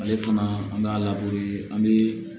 Ale fana an b'a an bɛ